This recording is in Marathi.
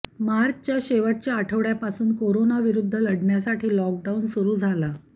मार्चच्या शेवटच्या आठवड्यापासून कोरोनाविरुद्ध लढण्यासाठी लॉकडाऊन सुरू झाला